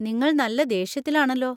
നിങ്ങൾ നല്ല ദേഷ്യത്തിലാണല്ലോ.